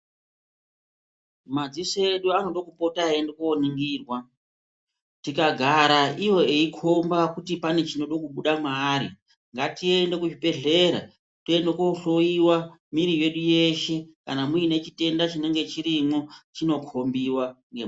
Madziso edu anoda kupota eyi ende ko ningirwa tikagara iwo eyi komba kuti pane chinode kubuda maari ngatiende ku zvibhedhlera toende ko hloyiwa mwiri yedu yeshe kana muine chitenda chinenge chirimo chino kombiwa ne.